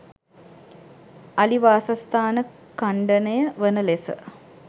අලි වාසස්ථාන ඛණ්ඩනය වන ලෙස